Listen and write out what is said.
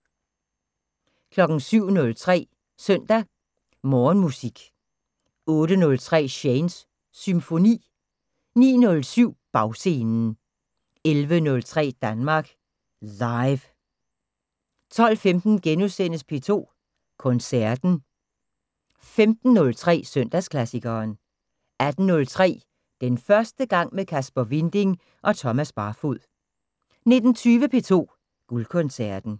07:03: Søndag Morgenmusik 08:03: Shanes Symfoni 09:07: Bagscenen 11:03: Danmark Live 12:15: P2 Koncerten * 15:03: Søndagsklassikeren 18:03: Den første gang med Kasper Winding og Thomas Barfod 19:20: P2 Guldkoncerten